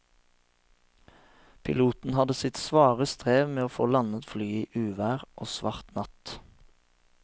Piloten hadde sitt svare strev med å få landet flyet i uvær og svart natt.